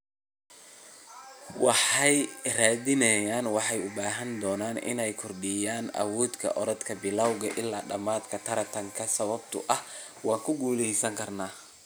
Waxay yiraahdeen waxaan u baahan doonaa inaan kordhiyo awooda orodka bilawga ilaa dhamaadka tartanka, sababtoo ah waan guuleysan karaa.